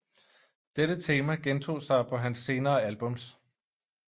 Dette tema gentog sig på hans senere albums